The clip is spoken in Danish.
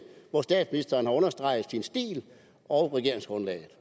hvor statsministeren har understreget sin stil og regeringsgrundlaget